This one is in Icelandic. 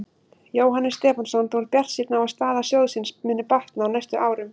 Jóhannes Stefánsson: Þú ert bjartsýnn á að staða sjóðsins muni batna á næstu árum?